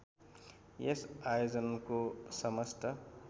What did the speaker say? यस आयोजनको समस्त